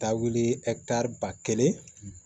Taa wuli ba kelen